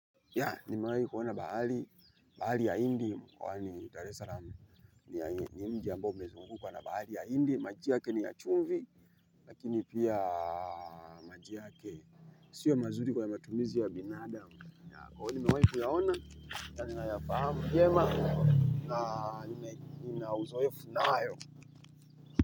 Ya, ni mwai kuona bahari, bahari ya hindi, m mykwani daar Salaam ni mji ambo umezungukwa na bahari ya hindi, maji yake ni ya chumvi, lakini pia maji yake siyo mazuri kwa matumizi ya binadamu. Kwa hiyo imewahi kuyaona, ya nina yafahamu vyema na nina uzoefu nayo.